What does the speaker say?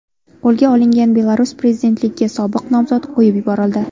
Qo‘lga olingan Belarus prezidentligiga sobiq nomzod qo‘yib yuborildi.